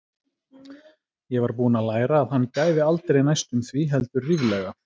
Ég var búin að læra að hann gæfi aldrei næstum því, heldur ríflega.